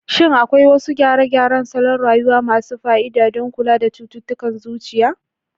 Shin akwai wasu gyare-gyaren salon rayuwa masu fa'ida don kula da cututtukan zuciya?